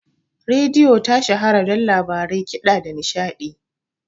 Rediyo ta shahara don labarai, kiɗa, da nishaɗi